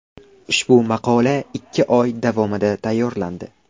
Ushbu maqola ikki oy davomida tayyorlandi.